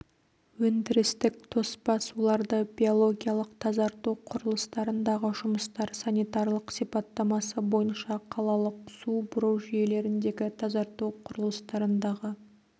өндірістік тоспа суларды биологиялық тазарту құрылыстарындағы жұмыстар санитарлық сипаттамасы бойынша қалалық су бұру жүйелеріндегі тазарту құрылыстарындағы